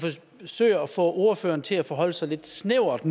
forsøger nu at få ordføreren til at forholde sig lidt snævert